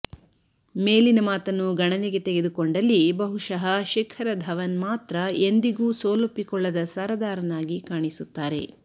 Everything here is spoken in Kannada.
ಮೇಲಿನ ಮಾತನ್ನು ಗಣನೆಗೆ ತೆಗೆದುಕೊಂಡಲ್ಲಿ ಬಹುಶಃ ಶಿಖರ ಧವನ್ ಮಾತ್ರ ಎಂದಿಗೂ ಸೋಲೊಪ್ಪಿಕೊಳ್ಳದ ಸರದಾರನಾಗಿ ಕಾಣಿಸುತ್ತಾರೆ